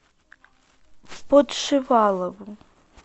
подшивалову